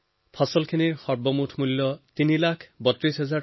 ফচলৰ মুঠ দাম নিৰ্ধাৰণ হয় প্ৰায় তিনি লাখ বত্ৰিছ হাজাৰ টকা